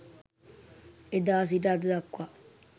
එදා සිට අද දක්වා